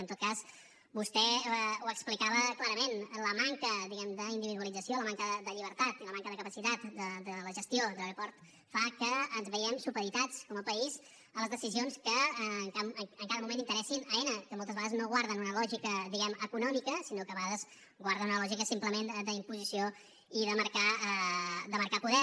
en tot cas vostè ho explicava clarament la manca diguem ne d’individualització la manca de llibertat i la manca de capacitat de la gestió de l’aeroport fa que ens veiem supeditats com a país a les decisions que en cada moment interessin a aena que moltes vegades no guarden una lògica diguem ne econòmica sinó que a vegades guarden una lògica simplement d’imposició i de marcar poder